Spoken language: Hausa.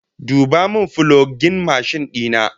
Duba min fulogin mashin dina!